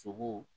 Sogo